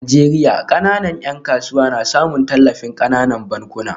A Najeriya, kananan ‘yan kasuwa na samun tallafin kananan bankuna